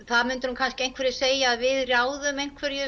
það myndu kannski einhverjir segja að við ráðum einhverju